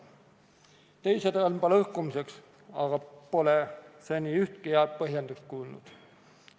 Teise samba lõhkumiseks pole ma aga seni ühtki head põhjendust kuulnud.